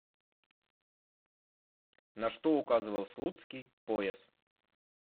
на что указывал слуцкий пояс